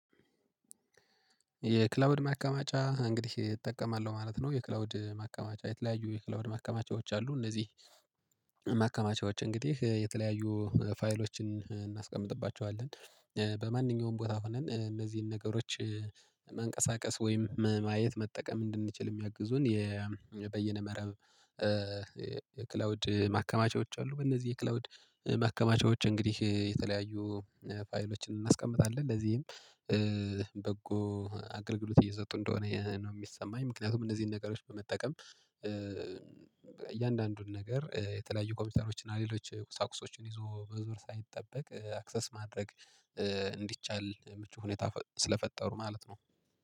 የክላውድ ማቀማጫ እንግዲህ እጠቀማለሁ ማለት ነው። የክላውድ ማቀማጫ የተለያዩ የክላውድ ማቀማጫዎች አሉ። እነዚህ ማከማቻዎች እንግዲህ የተለያዩ ፋይሎችን እናስቀምጥባቸዋለን በማንኛውም ቦታ ሆነን እነዚህን ነገሮች ማንቀሳቀስ ወይም ማየት መጠቀም እንድንችል የሚያግዙን። በየነበረ የክላውድ ማከማቻዎች አሉ። በእነዚህ የክላውድ ማከማቻዎች እንግዲህ የተለያዩ ፋይሎችን እናስቀምጣለን ለዚህም በጎ አገልግሎት እየሰጡ እንደሆነ ነው የሚሰማኝ። ምክንያቱም እነዚህን ነገሮች በመጠቀም ነገር የተለያዩ ኮምፒቶሮች እና ሌሎች ቁሳቁሶችን ይዞ መዞር ሳይጠበቅ አክሰስ ማድረግ እንዲቻል ምቹ ሁኔታ ስለፈጠሩ ማለት ነው